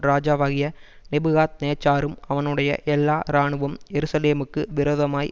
ராஜாவாகிய நேபுகாத்நேச்சாரும் அவனுடைய எல்லா இராணுவம் எருசலேமுக்கு விரோதமாய்